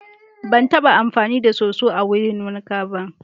Ban taɓa amfani da soso wurin wanka ba.